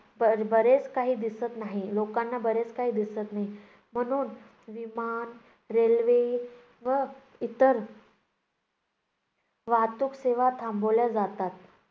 बर~ बरेच काही दिसत नाही. लोकांना बरेच काही दिसत नाही. म्हणून विमान, रेल्वे व इतर वाहतूक सेवा थांबवल्या जातात.